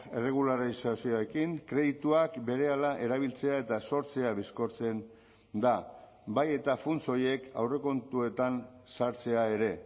erregularizazioekin kredituak berehala erabiltzea eta sortzea bizkortzen da bai eta funts horiek aurrekontuetan sartzea ere